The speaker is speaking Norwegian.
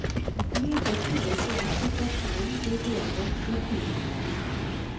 Lite tyder på at situasjonen blir bedre med tiden.